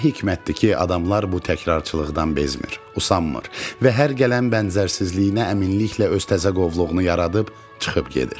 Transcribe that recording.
Nə hikmətdir ki, adamlar bu təkrarçılıqdan bezmir, usanmır və hər gələn bənzərsizliyinə əminliklə öz təzə qovluğunu yaradıb çıxıb gedir.